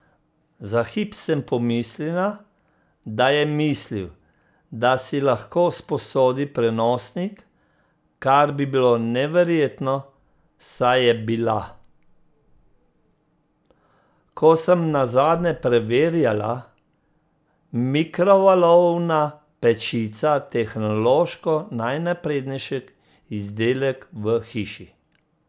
Za hip sem pomislila, da je mislil, da si lahko sposodi prenosnik, kar bi bilo neverjetno, saj je bila, ko sem nazadnje preverjala, mikrovalovna pečica tehnološko najnaprednejši izdelek v hiši.